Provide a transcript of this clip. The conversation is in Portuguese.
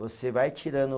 Você vai tirando